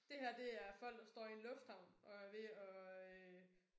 Det her det er folk der står i en lufthavn og er ved at øh